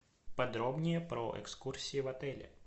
подробнее про экскурсии в отеле